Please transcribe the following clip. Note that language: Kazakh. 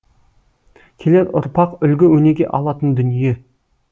келер ұрпақ үлгі өнеге алатын дүние